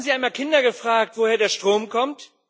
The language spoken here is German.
Haben Sie einmal Kinder gefragt, woher der Strom kommt?